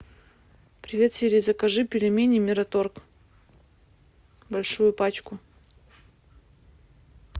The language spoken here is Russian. привет сири закажи пельмени мираторг большую пачку